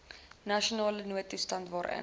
nasionale noodtoestand waarin